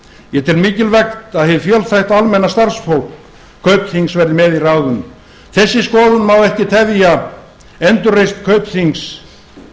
ég tel mikilvægt að hið fjölþætta og almenna starfsfólk kaupþings verði með í ráðum þessi skoðun má ekki tefja endurreisn kaupþings